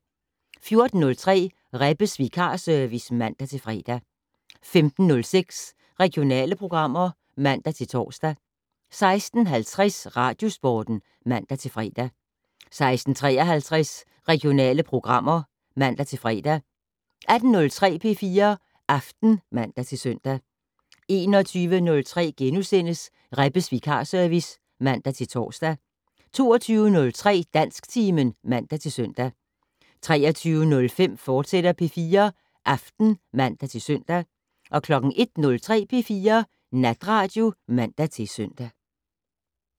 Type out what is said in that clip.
14:03: Rebbes vikarservice (man-fre) 15:06: Regionale programmer (man-tor) 16:50: Radiosporten (man-fre) 16:53: Regionale programmer (man-fre) 18:03: P4 Aften (man-søn) 21:03: Rebbes vikarservice *(man-tor) 22:03: Dansktimen (man-søn) 23:05: P4 Aften, fortsat (man-søn) 01:03: P4 Natradio (man-søn)